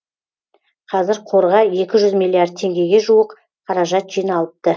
қазір қорға екі жүз миллиард теңгеге жуық қаражат жиналыпты